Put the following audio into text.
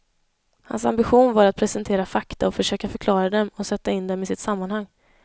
Hans ambition var att presentera fakta och försöka förklara dem och sätta in dem i sitt sammanhang.